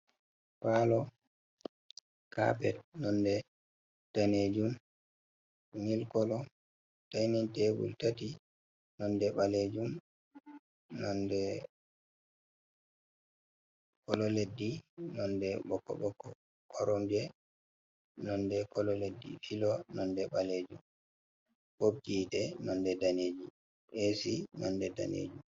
Palo capet nonde danejuum, nil kolo, dainin tebul nonde ɓalejuum kolo leddi nonde ɓoko ɓoko, koromje nonde kolo leddi, filo nonde ɓalejum, nonde daneji esi nonde danenjum